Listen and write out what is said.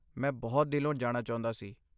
ਮੈਂ ਬਹੁਤ ਦਿਲੋਂ ਜਾਣਾ ਚਾਹੁੰਦਾ ਸੀ।